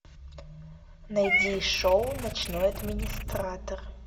найди шоу ночной администратор